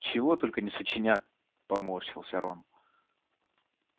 чего только не сочинят поморщился рон